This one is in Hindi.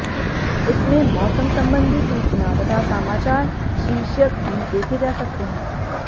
इसमें मौसम संबंधी सूचना तथा समाचार शीर्षक भी देखे जा सकते हैं